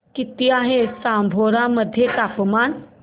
किती आहे जांभोरा मध्ये तापमान